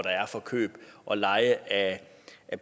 der er for køb og leje af